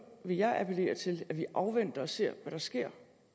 vil jeg appellere til at vi afventer og ser hvad der sker